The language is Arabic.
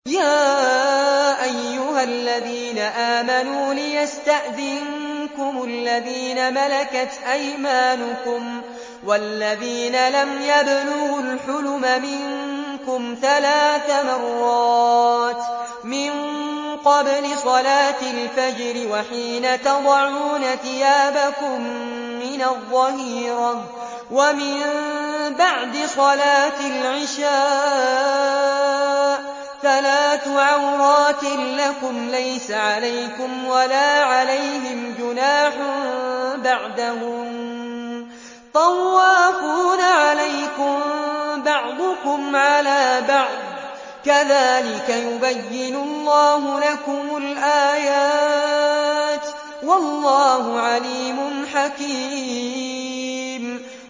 يَا أَيُّهَا الَّذِينَ آمَنُوا لِيَسْتَأْذِنكُمُ الَّذِينَ مَلَكَتْ أَيْمَانُكُمْ وَالَّذِينَ لَمْ يَبْلُغُوا الْحُلُمَ مِنكُمْ ثَلَاثَ مَرَّاتٍ ۚ مِّن قَبْلِ صَلَاةِ الْفَجْرِ وَحِينَ تَضَعُونَ ثِيَابَكُم مِّنَ الظَّهِيرَةِ وَمِن بَعْدِ صَلَاةِ الْعِشَاءِ ۚ ثَلَاثُ عَوْرَاتٍ لَّكُمْ ۚ لَيْسَ عَلَيْكُمْ وَلَا عَلَيْهِمْ جُنَاحٌ بَعْدَهُنَّ ۚ طَوَّافُونَ عَلَيْكُم بَعْضُكُمْ عَلَىٰ بَعْضٍ ۚ كَذَٰلِكَ يُبَيِّنُ اللَّهُ لَكُمُ الْآيَاتِ ۗ وَاللَّهُ عَلِيمٌ حَكِيمٌ